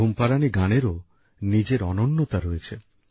ঘুম পাড়ানি গানেরও নিজের অনন্যতা রয়েছে